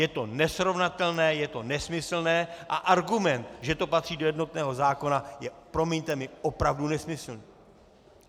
Je to nesrovnatelné, je to nesmyslné a argument, že to patří do jednotného zákona, je, promiňte mi, opravdu nesmyslný.